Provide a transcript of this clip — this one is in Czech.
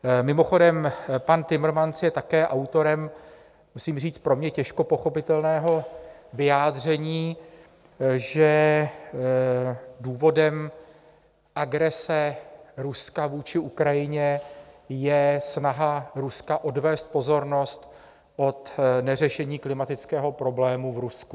Mimochodem, pan Timmermans je také autorem musím říct pro mě těžko pochopitelného vyjádření, že důvodem agrese Ruska vůči Ukrajině je snaha Ruska odvést pozornost od neřešení klimatického problému v Rusku.